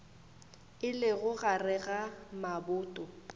e lego gare ga maboto